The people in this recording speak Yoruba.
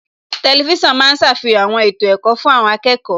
Tẹlifísàn ma ń ṣàfihàn àwọn ètò ẹ̀kọ́ fún àwọn akẹ́kọ̀ọ́